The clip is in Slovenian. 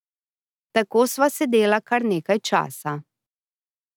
Tako sva sedela kar nekaj časa.